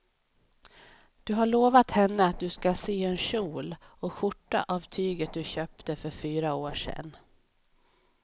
Du har lovat henne att du ska sy en kjol och skjorta av tyget du köpte för fyra år sedan.